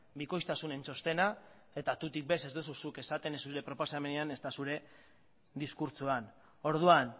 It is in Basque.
bikoiztasunen txostena eta tutik ere ez duzu zuk esaten ez zure proposamenean ezta zure diskurtsoan orduan